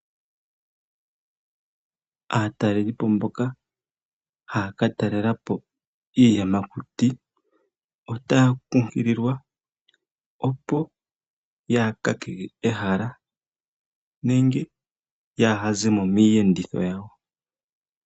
Aatalelipo mboka haya ka talela po iiyamakuti otaya kunkililwa opo yaa kakeke ehala nenge yaaha ze mo miiyenditho yawo.